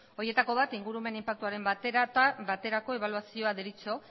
horietako bat ingurumen inpaktuaren baterako ebaluazioa deritzo